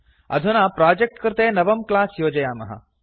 अधुना प्रोजेक्ट् कृते नवं क्लास् योजयामः